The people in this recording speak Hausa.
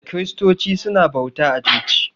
Kiristoci su na bauta a coci